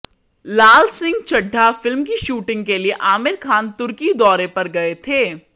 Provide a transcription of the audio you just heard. लाल Singh Chaddha film की shooting के लिए आमिर खान तुर्की दौरे पर गए थे